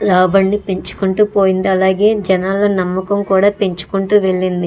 రాబడి పెంచుకుంటూ పోయింది అలాగే జనాల నమ్మకం కూడా పెంచుకుంటూ వెళ్ళింది.